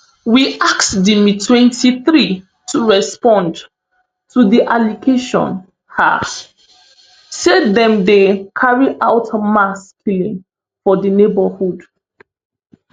we ask di mtwenty-three to respond to di allegation um say dem dey carry out mass killing for di neighbourhood